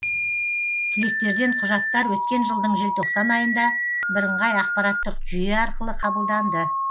түлектерден құжаттар өткен жылдың желтоқсан айында бірыңғай ақпараттық жүйе арқылы қабылданды